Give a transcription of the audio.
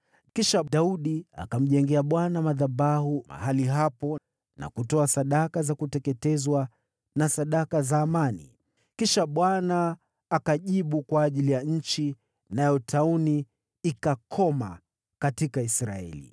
Kisha Daudi akamjengea Bwana madhabahu mahali hapo, na kutoa sadaka za kuteketezwa na sadaka za amani. Kisha Bwana akajibu kwa ajili ya nchi, nayo tauni ikakoma katika Israeli.